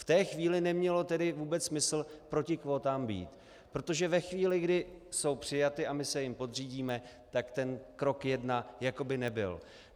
V té chvíli nemělo tedy vůbec smysl proti kvótám být, protože ve chvíli, kdy jsou přijaty a my se jim podřídíme, tak ten krok jedna jako by nebyl.